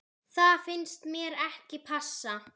Það finnst mér ekki passa.